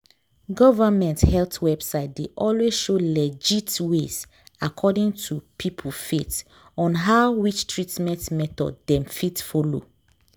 government health website dey always show legit ways according to peope faith on how which treatment method dem fit follow.